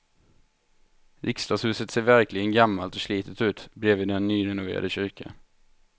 Riksdagshuset ser verkligen gammalt och slitet ut bredvid den nyrenoverade kyrkan.